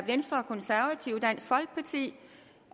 sige